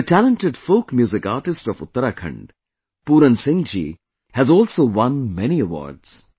The talented folk music artist of Uttarakhand, Puran Singh ji has also won many awards